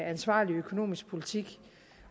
ansvarlig økonomisk politik